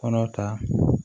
Kɔnɔ ta